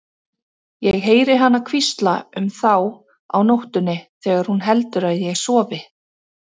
Ég heyri hana hvísla um þá á nóttunni þegar hún heldur að ég sofi.